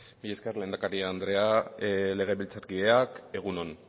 mila esker lehendakari andrea legebiltzarkideak egun on